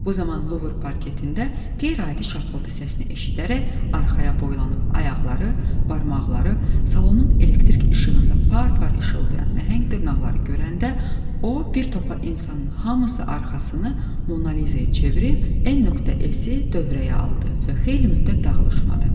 Bu zaman Luver parketində qeyri-adi şapıltı səsini eşidərək arxaya boylanıb ayaqları, barmaqları, salonun elektrik işığında par-par işıldayan nəhəng dırnaqları görəndə o bir topa insanın hamısı arxasını Monaliza-ya çevirib N.S-i dövrəyə aldı və xeyli müddət dağılışmadı.